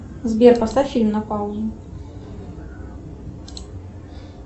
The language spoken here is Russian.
сбер поставь фильм на паузу